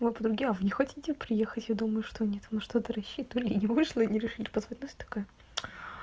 вы подруги а вы не хотите приехать я думаю что нет на что-то рассчитывали и не вышло и они решили позвать нас такая